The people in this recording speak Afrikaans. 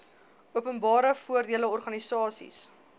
openbare voordele organisasies